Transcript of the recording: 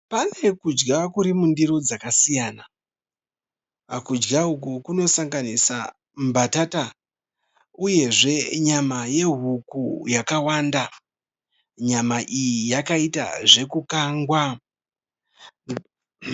Pane kudya Kuri mundiro dzakasiyana. Kudya uku kunosanganisa mbatata, uyezve nyama yehuku yakawanda. Nyama iyi yakaita zvekukangwa .